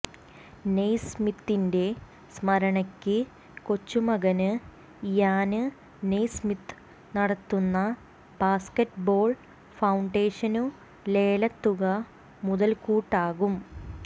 നെയ്സ്മിത്തിന്റെ സ്മരണയ്ക്ക് കൊച്ചുമകന് ഇയാന് നെയ്സ്മിത്ത് നടത്തുന്ന ബാസ്കറ്റ് ബോള് ഫൌണ്ടേഷനു ലേലത്തുക മുതല്ക്കൂട്ടാകും